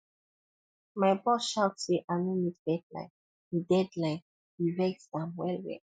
my boss shout say i no meet deadline e deadline e vex am wellwell